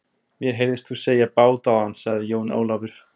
Mér heyrðist þú segja bát áðan, sagði Jón Ólafur.